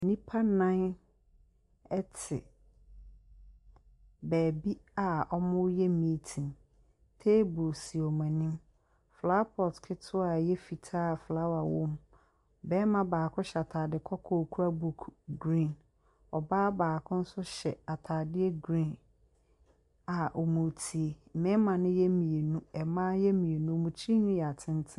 Nipa nan ɛti bɛɛbi a ɔmu yɛ miitin. Teebu si ɔmo ɛnim. Flawa pɔt kitiwaa a ɛyɛ fitaa a flawa wɔ mu. Bɛɛma baako hyɛ ataade kɔkɔɔ kura buk grin. Ɔbaa baako so hyɛ ataade grin a ɔmo tie. Mmɛɛma no yɛ mienu, ɛmmaa no yɛ mienu. Ɔmo tri nwini yɛ ateten.